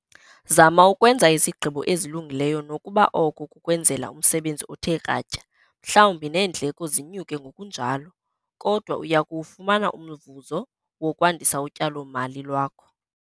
Zama ukwenza izigqibo ezilungileyo nokuba oko kukwenzela umsebenzi othe kratya, mhlawumbi neendleko zinyuke ngokunjalo - kodwa uya kuwufumana umvuzo wokwandisa utyalo-mali lwakho.